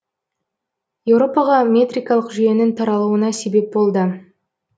еуропаға метрикалық жүйенің таралуына себеп болды